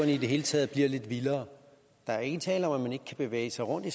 i det hele taget bliver lidt vildere der er ikke tale om at man ikke kan bevæge sig rundt i